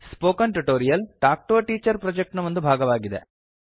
spoken tutorial talk to a teacher project ನ ಒಂದು ಭಾಗವಾಗಿದೆ